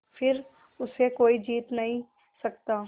फिर उसे कोई जीत नहीं सकता